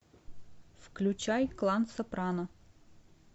включай клан сопрано